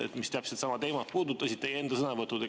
Teie enda sõnavõtud samal teemal.